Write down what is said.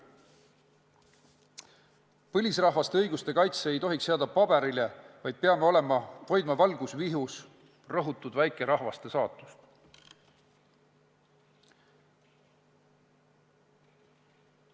Põlisrahvaste õiguste kaitse ei tohiks jääda paberile, me peame rõhutud väikerahvaste saatust valgusvihus hoidma.